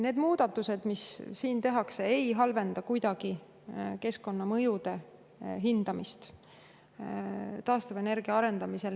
Need muudatused, mis tehakse, ei halvenda kuidagi keskkonnamõjude hindamist taastuvenergia arendamisel.